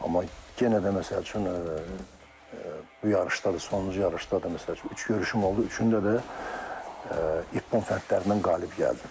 Amma yenə də məsəl üçün bu yarışda da, sonuncu yarışda da, məsəl üçün üç görüşüm oldu, üçündə də ippon fənlərindən qalib gəldim.